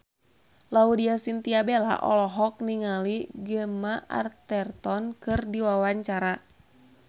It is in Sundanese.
Laudya Chintya Bella olohok ningali Gemma Arterton keur diwawancara